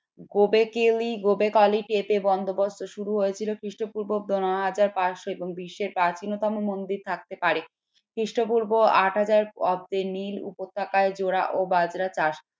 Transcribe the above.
বন্দোবস্ত শুরু হয়েছিল কৃষ্টপূর্ব পনেরো হাজার পাঁচশ এবং বিশ্বের প্রাচীনতম মন্দির থাকতে পারে খ্রিস্টপূর্ব আট হাজার অব্দে নীল উপত্যকায় জোড়া বাজরা চাষ